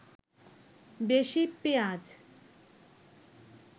বেশি পেঁয়াজ